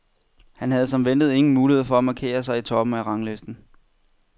Han havde som ventet ingen mulighed for at markere sig i toppen af ranglisten.